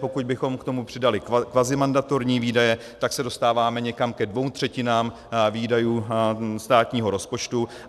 Pokud bychom k tomu přidali kvazimandatorní výdaje, tak se dostáváme někam ke dvěma třetinám výdajů státního rozpočtu.